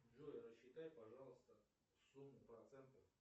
джой рассчитай пожалуйста сумму процентов